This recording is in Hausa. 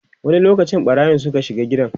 wani lokaci ɓarayin Suka shiga gidan?